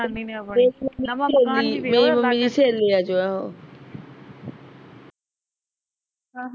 ਮੇਰੀ ਮੰਮੀ ਦੀ ਸਹੇਲੀਆਂ ਚੋ ਐ ਉਹ